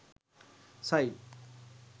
site